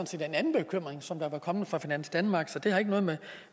set en anden bekymring som var kommet fra finans danmark så det har ikke noget